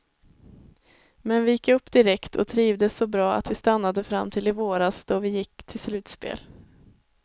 Men vi gick upp direkt och trivdes så bra att vi stannade fram till i våras då vi gick till slutspel.